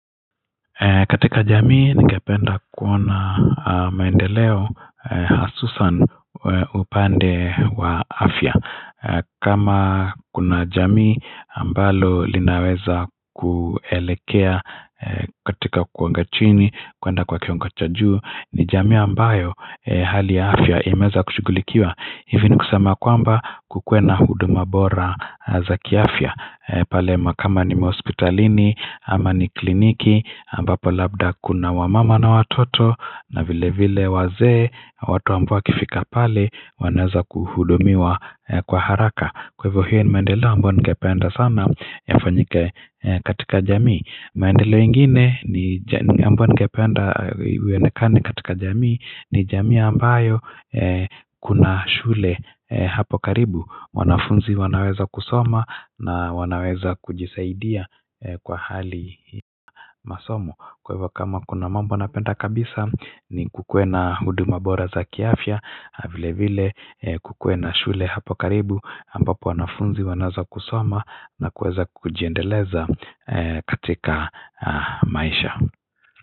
Ee katika jamii ningependa kuona maendeleo hasusan upande wa afya kama kuna jamii ambalo linaweza kuelekea ee katika kuangachini kuenda kwa kiongachajuu ni jamii ambayo hali ya afya imeweza kushugulikiwa hivini kusema kwamba kukuwena hudu mabora za kiafya pale makama ni maaospitalini ama ni kliniki ambapo labda kuna wamama na watoto na vile vile waze watu ambao kifika pale wanaweza kuhudumiwa kwa haraka kwa hivyo hiyo ni maendeleo ambayo ningependa sana yafanyike katika jamii maendeleo ingine ambayo ningependa iyonekane katika jamii ni jamii ambayo kuna shule hapo karibu wanafunzi wanaweza kusoma na wanaweza kujisaidia kwa hali masomo Kwa hivyo kama kuna mambo napenda kabisa ni kukuwe na hudu mabora za kiafya vile vile kukuwe na shule hapo karibu aMbapo wanafunzi wanaweza kusoma na kuweza kujiendeleza katika maisha.